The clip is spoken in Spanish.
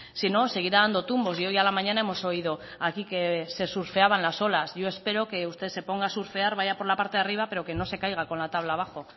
si no seguirá dando tumbos y hoy a la mañana hemos oído aquí que se surfeaban las olas yo espero que usted se ponga a surfear vaya por la parte de arriba pero que no se caiga con la tabla abajo